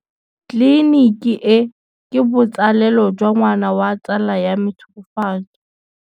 Tleliniki e, ke botsalêlô jwa ngwana wa tsala ya me Tshegofatso.